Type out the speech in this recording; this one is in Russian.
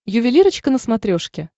ювелирочка на смотрешке